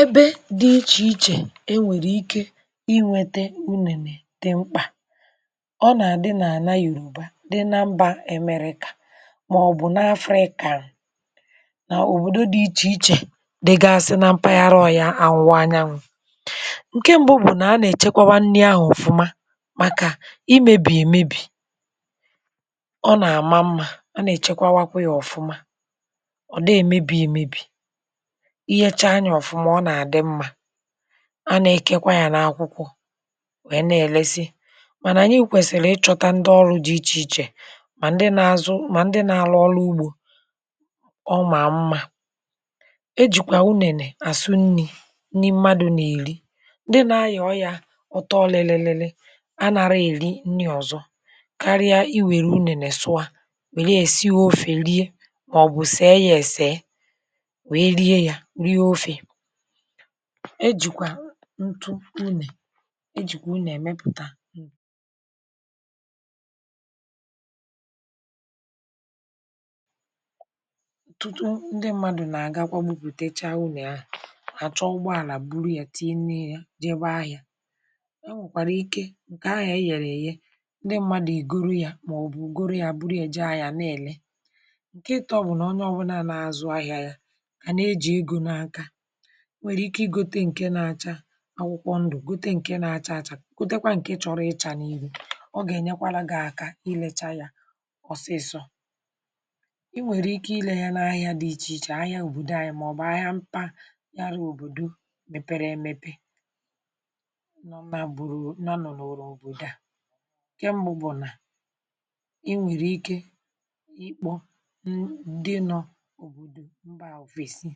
Ebe dị iche-iche, enwèrè ike inwètè di mkpà. Ọ nà-adí n’àlà Yòrò, ụ̀bà dị na Mbà Èmeríka, màọ̀bụ̀ n’afọ̇ ị kàrà, nà òbòdo dị iche-iche, dìgasị nà mpaghara. Ọyà, àwụ̀wa ànyanwụ̇, ńkè mbu bụ̀ nà a nà-èchekwà nni ahụ̀ ọ̀fụma, um màkà i mèbìe èmebì. Ọ nà-àma mmá, a nà-èchekwà kwa yà ọ̀fụma. Ọ̀ dị èmebì èmebì, a nà-èkèkwa yà n’akwụkwọ̇, nwèe na-èlesi, mà nà nyee kwèsìrì. Ìchọ̇ ndị ọrụ̇ dị iche-iche, mà ndị na-azụ, mà ndị na-alụ ọlụ̇ ugbò, ọ mà mmá. E jìkwà unènè, asụ nni̇, nni mmadụ̀ nà-èri. Ndị na-ayọ̀ọ yà ọtọ, ọlị̇lị̇lị̇lị̇, a na-arà èri nni ọ̀zọ̀ kárí i. Wèrè unènè, sụà, wèlịa, èsíe ofè rie, màọ̀bụ̀ sèe yà, èsèe. E jìkwà ntụ unè, e jìkwà unè mepùtà. Otụ̀tụ̀ ndị mmadụ̀ nà-àga akwòmùpùtèchá unè. Ahà àchọ̀, ùgbọ̀ àlà bùrù yà, tinye yà, jèbè ahị̇à. E nwèkwàrà ike, ńkè ahị̇à yè, gà-èye ndị mmadụ̀, ìgòrò yà, màọ̀bụ̀ gòrò yà, bùrù yà, e jèe ahị̇à niilè. Ǹkè ịtọ̇ bụ̀ nà onye ọbụlà nà-àzụ ahịa yà, kà na-eji egò n’aka, nwèrè ike ìgòtè nke na-acha akwụkwọ ndụ, gòtè nke na-acha àchá, gòtèkwa nke chọrọ ịchà nà írụ. Ọ gà-ènyekwara gị̀ aka, ilechàa yà ọsịsọ. Ì nwèrè ike ile yà na ahịa dị iche-iche, ahịa obodo ànyị, màọ̀bụ̀ ahịa mpáyára. Obodo mepere emepe nọ, um ma bụrụ, nọ n’ụrụ n’obodo. À kèmgbún bụ̀ nà i nwèrè ike ikpò ndị nọ̀ obodo mbà ofèsì,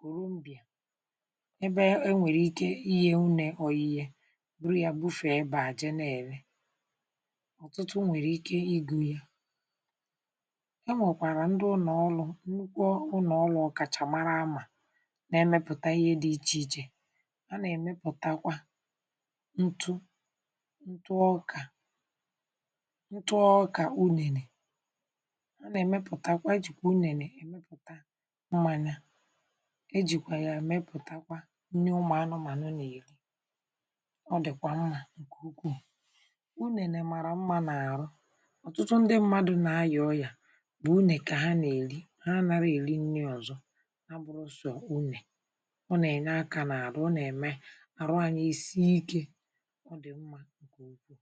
gòrò mbịà. Ebe e nwèrè ike, ìhé unè, ọyíì bùrù ya, bùfè ebe àjè. N’èle, ọ̀tụtụ nwèrè ike ìgụ̇ yà. E nwèkwàrà ndị ụnọ̀ọlụ̇, nnukwu ụnọ̀ọlụ̇, ọ̀kàchàmara àmà, n’èmepùta ìhé dị iche-iche. A nà-èmepùtakwa ntụ̀ ntụ̀ ọkà, ntụ ọkà unèrè. A nà-èmepùtakwa jìkwè unèrè èmepùtà, e jìkwà yà, èmepùtakwa nni ụmụ̀ anụmànụ, nà èyèli. Ọ dị̀kwà mmá, ńkè ukwuù. Unè nèmàrà mmá nà àrụ̀, ọ̀tụtụ ndị mmadụ̇ nà àyà. Ọyà bụ̀ unè, kà ha nà-èli ha. Ànàrà èli nni ọ̀zọ̀, abụrụsọ̀ unè. Ọ nà-ènyè aka nà àrụ̀, ọ nà-èmé àrụ̀, ànyà ísì íkè. Ọ dị̀ mmá, ńkè ukwuù